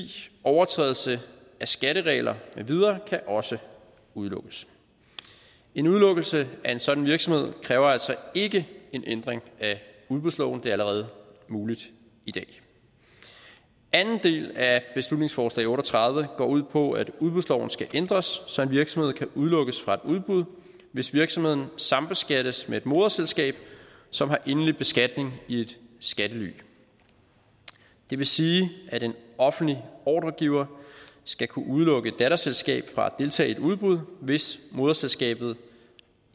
overtrædelse af skatteregler med videre kan også udelukkes en udelukkelse af en sådan virksomhed kræver altså ikke en ændring af udbudsloven det er allerede muligt i dag anden del af beslutningsforslag b otte og tredive går ud på at udbudsloven skal ændres så en virksomhed kan udelukkes fra et udbud hvis virksomheden sambeskattes med et moderselskab som har endelig beskatning i et skattely det vil sige at en offentlig ordregiver skal kunne udelukke et datterselskab fra at deltage i et udbud hvis moderselskabet